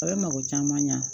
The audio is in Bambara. A bɛ mako caman ɲa